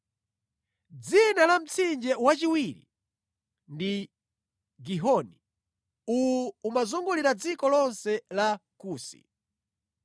Dzina la mtsinje wachiwiri ndi Gihoni; uwu umazungulira dziko lonse la Kusi.